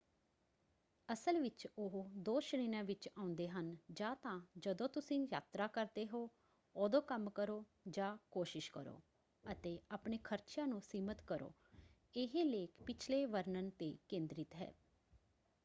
ਅਸਲ ਵਿੱਚ ਉਹ ਦੋ ਸ਼੍ਰੇਣੀਆਂ ਵਿੱਚ ਆਉਂਦੇ ਹਨ: ਜਾਂ ਤਾਂ ਜਦੋਂ ਤੁਸੀਂ ਯਾਤਰਾ ਕਰਦੇ ਹੋ ਉਦੋਂ ਕੰਮ ਕਰੋ ਜਾਂ ਕੋਸ਼ਿਸ਼ ਕਰੋ ਅਤੇ ਆਪਣੇ ਖਰਚਿਆਂ ਨੂੰ ਸੀਮਤ ਕਰੋ। ਇਹ ਲੇਖ ਪਿਛਲੇ ਵਰਣਨ 'ਤੇ ਕੇਂਦ੍ਰਿਤ ਹੈ।